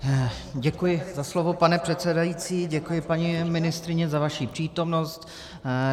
Děkuji za slovo, pane předsedající, děkuji, paní ministryně, za vaši přítomnost.